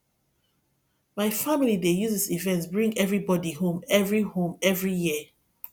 my family dey use dis event bring everybody home every home every year